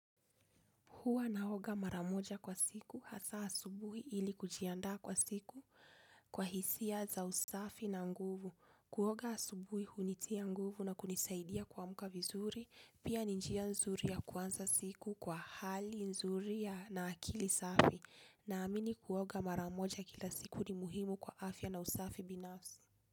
Huwa naoga mara moja kwa siku hasa asubuhi ili kujiandaa kwa siku kwa hisia za usafi na nguvu. Kuoga asubuhi hunitia nguvu na kunisaidia kuamka vizuri, pia ni njia nzuri ya kuanza siku kwa hali nzuri na akili safi. Naamini kuoga mara moja kila siku ni muhimu kwa afya na usafi binafsi.